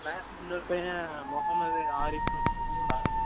class ல இன்னொரு பையன் மொஹமெட் ஆரிசுனு இருக்கான்